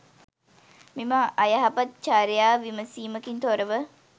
මෙම අයහපත් චර්යාව විමසීමකින් තොරව